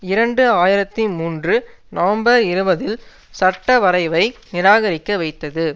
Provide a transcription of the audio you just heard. இரண்டு ஆயிரத்தி மூன்று நவம்பர் இருபதில் சட்டவரைவை நிராகரிக்க வைத்தது